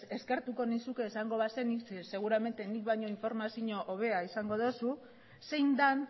eskertuko nizuke esango bazenit zeren seguramente ni baino informazio hobea izango duzu zein den